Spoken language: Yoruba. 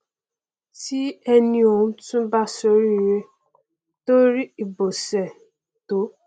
tí ẹni ọhún tún bá ṣoríire tó rí ibọsẹ tó